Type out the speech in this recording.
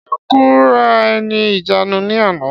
Ṣé ó kóra ẹ̀ ní ìjánu ní àná?